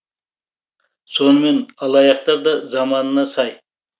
сонымен алаяқтар да заманына сай